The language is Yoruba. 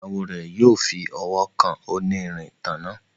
Ìyàwó rẹ yóò fí ọwọ kàn onírin ìtanná.